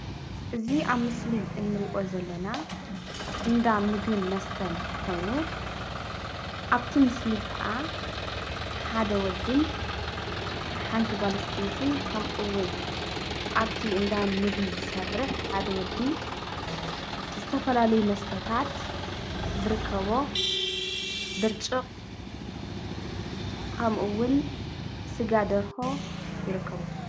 እዚ ኣብ ምስሊ እንሪኦ ዘለና እንዳ ምግቢን መስተን ኾይኑ ኣብቲ ምስሊ ኸኣ ሓደ ወድን ሓንቲ ጓል ኣንስተይትን ከምኡውን ኣብቲ እንዳ ምግቢ ዝሰርሕ ሓደ ወዲ ዝተፈላለዩ መስተታት ዝርከቦ ብርጭቕ ከምኡውን ስጋ ደርሆ ይርከብዎ፡፡